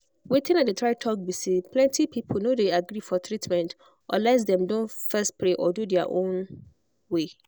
wetin i dey try talk be say plenty people no dey agree for treatment unless dem don first pray or do their own way.